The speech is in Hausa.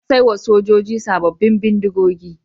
An sai wa sojoji sabbin bindigogi.